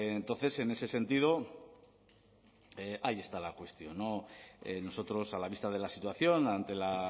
entonces en ese sentido ahí está la cuestión nosotros a la vista de la situación ante la